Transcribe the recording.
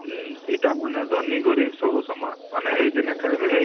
ହଁ ଏଇଟା ମାନେ ଧନୀ ଗରିବ ସବୁ ସମାନ ମାନେ ଏହି ଦିନ ଖାଇବେ ଏଇ